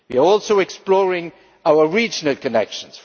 We are also exploring our regional connections.